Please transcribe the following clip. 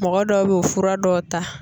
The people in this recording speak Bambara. Mɔgɔ dɔw bɛ o fura dɔw ta.